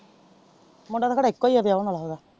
ਮੁੰਡਾ ਤੇ ਕਹਿੰਦੇ ਇੱਕੋ ਹੀ ਆ ਵਿਆਹੁਣ ਵਾਲਾ ਓਹਦਾ।